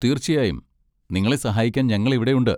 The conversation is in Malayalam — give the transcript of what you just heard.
തീർച്ചയായും! നിങ്ങളെ സഹായിക്കാൻ ഞങ്ങൾ ഇവിടെയുണ്ട്.